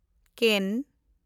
ᱠᱮᱱ